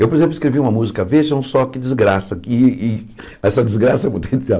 Eu, por exemplo, escrevi uma música, vejam só que desgraça, e e essa desgraça é muito